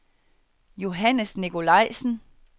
Johannes Nikolajsen